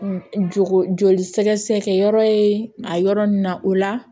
Jɔ joli sɛgɛsɛgɛ yɔrɔ ye a yɔrɔ nin na o la